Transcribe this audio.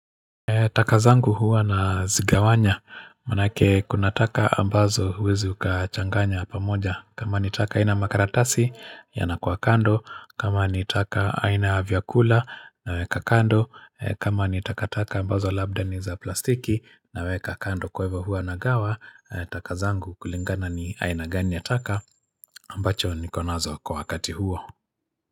Taka zangu huwa nazigawanya, maanake kuna taka ambazo huwezi ukachanganya pamoja, kama ni taka ina makaratasi yanakuwa kando, kama ni taka aina ya vyakula naweka kando, kama ni takataka ambazo labda ni za plastiki naweka kando kwa hivyo huwa nagawa, taka zangu kulingana ni aina gani ya taka ambacho niko nazo kwa wakati huo.